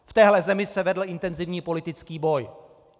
V téhle zemi se vedl intenzivní politický boj.